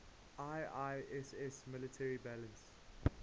iiss military balance